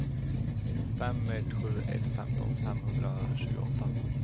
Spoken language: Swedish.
fem ett sju ett femton femhundratjugoåtta